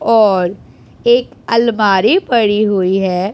और एक अलमारी पड़ी हुई है।